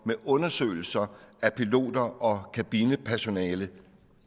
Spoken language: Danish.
med undersøgelser af piloter og kabinepersonale